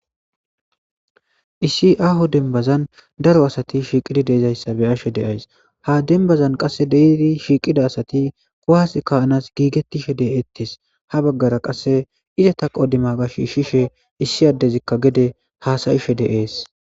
Issi aho denbazan daro asati shiiqidi deizayssa be ashe deyays ha denbazan qasse deedi shiiqida asati kuhas kaanas giigettishe de7eettes ha baggara qasse izata qodima gash shishe issi addezikka gede haasayishe deees.